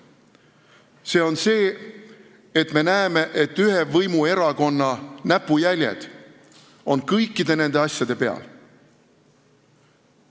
See on see, et me näeme, et ühe võimuerakonna näpujäljed on kõikide nende asjade peal.